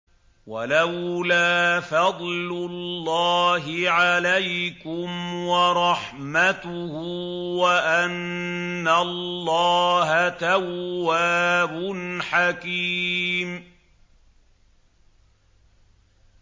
وَلَوْلَا فَضْلُ اللَّهِ عَلَيْكُمْ وَرَحْمَتُهُ وَأَنَّ اللَّهَ تَوَّابٌ حَكِيمٌ